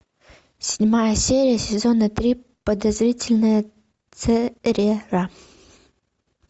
седьмая серия сезона три подозрительная церера